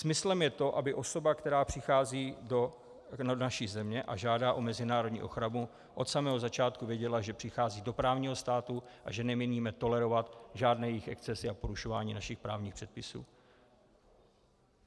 Smyslem je to, aby osoba, která přichází do naší země a žádá o mezinárodní ochranu, od samého začátku věděla, že přichází do právního státu a že nemíníme tolerovat žádné jejich excesy a porušování našich právních předpisů.